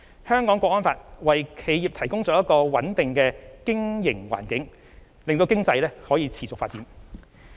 《香港國安法》為企業提供了一個穩定的經營環境，讓經濟可持續發展。